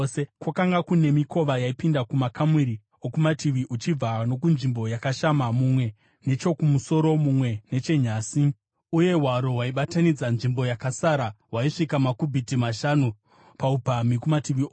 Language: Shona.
Kwakanga kune mikova yaipinda kumakamuri okumativi uchibva nokunzvimbo yakashama, mumwe nechokumusoro, mumwe nechenyasi; uye hwaro hwaibatanidza nzvimbo yakasara hwaisvika makubhiti mashanu paupamhi kumativi ose.